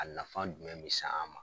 A nafa jumɛn be se an ma